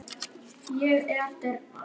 Ég er dyrnar.